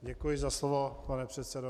Děkuji za slovo, pane předsedo.